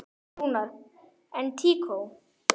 Rúnar: En tíkó?